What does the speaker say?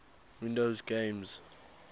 windows games